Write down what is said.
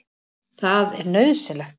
Það er nauðsynlegt.